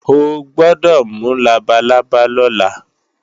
O gbọ́dọ̀ mú labalábá lọ́la!